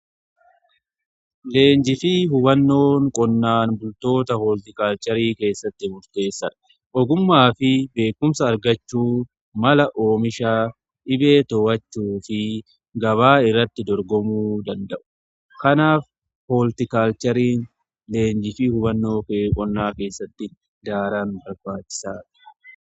Leenjii fi hubannoon qonnaan bultoota hooltikaalcharii keessatti murteessadha. ogummaa fi beekumsa argachuun mala oomishaa, dhibee to'achuu fi gabaa irratti dorgomuu danda'u. Kanaaf hooltikaalchariin leenjii fi hubannoo qonnaa keessatti daran barbaachisa.